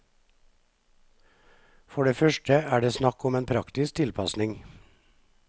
For det første er det snakk om en praktisk tilpasning.